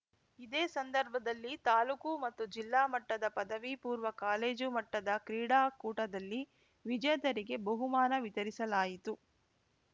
ಇದೇ ಸಂದರ್ಭದಲ್ಲಿ ತಾಲೂಕು ಮತ್ತು ಜಿಲ್ಲಾ ಮಟ್ಟದ ಪದವಿಪೂರ್ವ ಕಾಲೇಜು ಮಟ್ಟದ ಕ್ರೀಡಾಕೂಟದಲ್ಲಿ ವಿಜೇತರಿಗೆ ಬಹುಮಾನ ವಿತರಿಸಲಾಯಿತು